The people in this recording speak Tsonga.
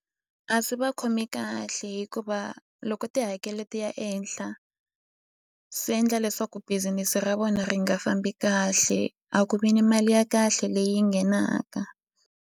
A swi va khomi kahle hikuva loko tihakelo ti ya ehenhla swi endla leswaku business ra vona ri nga fambi kahle a ku vi ni mali ya kahle leyi nghenaka.